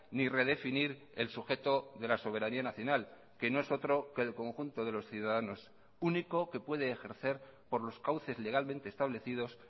ni redefinir el sujeto de la soberanía nacional que no es otro que el conjunto de los ciudadanos único que puede ejercer por los cauces legalmente establecidos